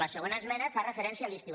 la segona esmena fa referència a l’estiu